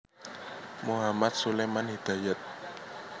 Mohamad Suleman Hidayat